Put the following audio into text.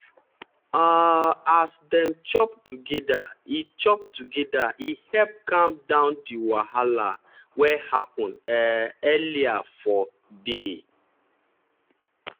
um as dem chop together e chop together e help calm down di wahala wey happen um earlier for day.